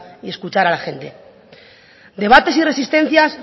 y escuchar a la gente debates y resistencias